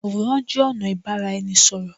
Àwòrán jé ònà ìbáraẹnisọ̀rọ̀